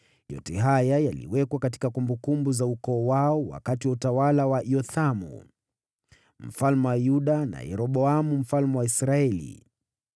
Yote haya yaliwekwa katika kumbukumbu za ukoo wao wakati wa utawala wa Yothamu, mfalme wa Yuda na Yeroboamu mfalme wa Israeli.